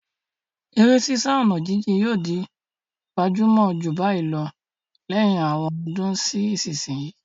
Eré sísá ọ̀nà jíjìn yóò di gbajúmọ̀ jù báyìí lọ lẹ́yìn àwọn ọdún sí ìsinsìnyí.